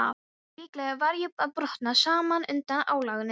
Líklega var ég að brotna saman undan álaginu.